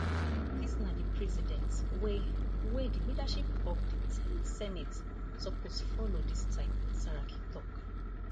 dis na di precedent wey wey di leadership of di ten th senate suppose follow dis timesaraki tok